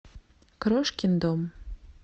крошкин дом